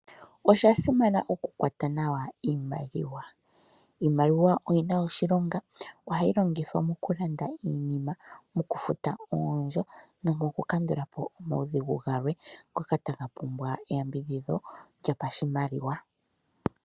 Osha simana oku kwata nawa iimaliwa. Iimaliwa oyina oshilonga, ohayi longithwa mokulanda iinima, moku futa oondjo nomoku kandulapo omaudhigu galwe ngoka taga pumbwa eyambidhidho lyopashimaliwa.